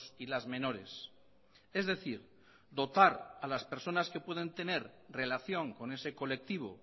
y las menores es decir dotar a las personas que pueden tener relación con ese colectivo